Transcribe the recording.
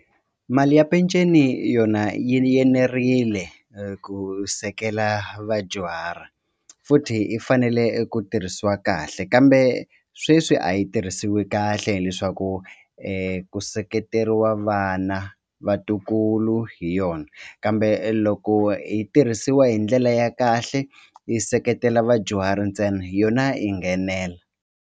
Mali ya peceni yona yi enerile ku sekela vadyuhari futhi yi fanele eku tirhisiwa kahle kambe sweswi a yi tirhisiwi kahle hileswaku ku seketeriwa vana vatukulu hi yona kambe loko hi tirhisiwa hi ndlela ya kahle yi seketela vadyuhari ntsena yona yi nghenela.